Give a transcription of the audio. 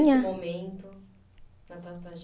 Momento, na tua